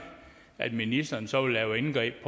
at ministeren så vil lave indgreb